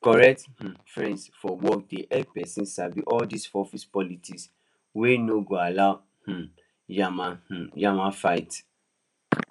correct um friends for work dey help person sabi all dis office politics wey no go allow um yama um yama fight